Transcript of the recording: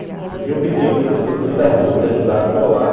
E eu pedia para as pessoas no meio da rua me ajudar a colar,